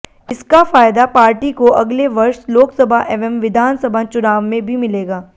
इसका फायदा पार्टी को अगले वर्ष लोकसभा एवं विधानसभा चुनाव में भी मिलेगा